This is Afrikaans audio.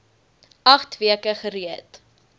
agt weke gereed